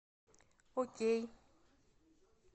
окей